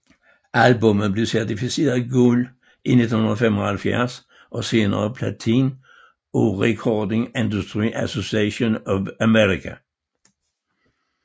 Albummet blev certificeret guld i 1975 og senere platin af Recording Industry Association of America